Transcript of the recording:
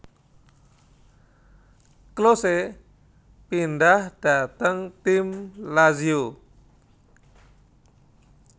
Klose pindhah dhateng tim Lazio